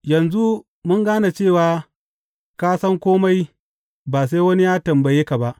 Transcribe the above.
Yanzu mun gane cewa ka san kome ba sai wani ya tambaye ka ba.